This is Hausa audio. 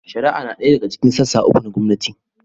Shari'a na ɗaya daga cikin sassa uku na gwamnati.